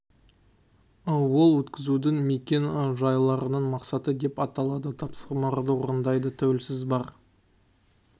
ол өткізудің мекен-жайларының мақсаттық деп аталады тапсырмаларды орындайтын тәуелсіз бар